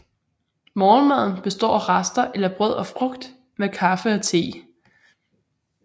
Morgenmaden består af rester eller brød og frugt med kaffe og te